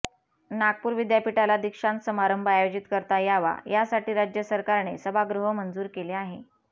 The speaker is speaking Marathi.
नागपूर विद्यापीठाला दीक्षांत समारंभ आयोजित करता यावा यासाठी राज्य सरकारने सभागृह मंजूर केले आहे